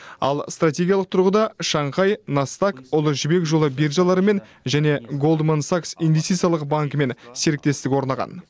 ал стратегиялық тұрғыда шанхай настаг ұлы жібек жолы биржаларымен және голдман сакс инвестициялық банкімен серіктестік орнаған